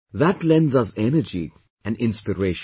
That lends us energy and inspiration